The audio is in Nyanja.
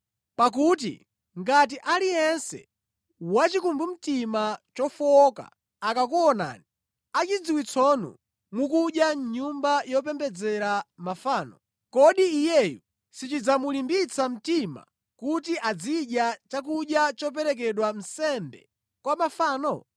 Pakuti ngati aliyense wachikumbumtima chofowoka akakuonani achidziwitsonu mukudya mʼnyumba yopembedzera mafano, kodi iyeyo sichidzamulimbitsa mtima kuti azidya chakudya choperekedwa nsembe kwa mafano?